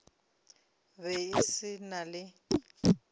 be e se na le